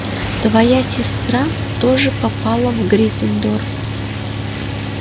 твоя сестра тоже попала в гриффиндор